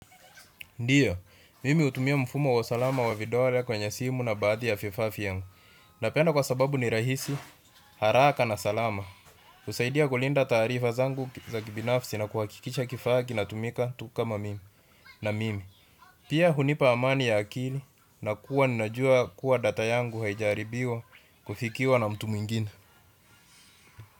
Ndiyo, mimi natumia mfumo wa salama wa vidole kwenye simu na baadhi ya vifaa vyangu. Napenda kwa sababu ni rahisi, haraka na salama. Husaidia kulinda taarifa zangu za kibinafsi na kuhakikisha kifaa kinatumika tu kama mimi na mimi. Pia hunipa amani ya akili na kuwa ninajua kuwa data yangu haijaharibiwa kufikiwa na mtu mwingina.